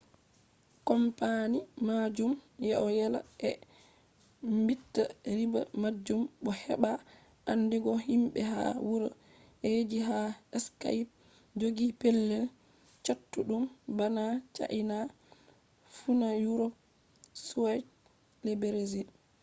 kompani majum ɗo yela ɓe maɓɓita riba majum bo heɓa andigo himɓe ha wuro ji ha skaip jogi pelel chattuɗum bana chaina funa yurop be brazil